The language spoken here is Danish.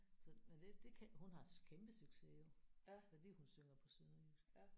Så men det det kan hun har kæmpe succes jo fordi hun synger på sønderjysk